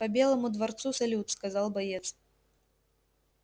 по белому дворцу салют сказал боец